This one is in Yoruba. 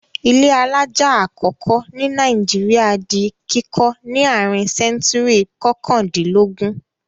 Ilé alájà àkọ́kọ́ ní Nàìjíríà di kíkọ́ ní àárín sẹ́ńtúrì kọkàndínlógún.